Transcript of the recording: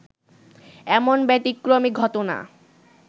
এমন ব্যতিক্রমী ঘটনা